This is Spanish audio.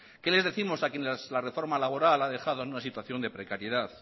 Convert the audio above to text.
qué les décimos a quienes la reforma laboral ha dejado en una situación de precariedad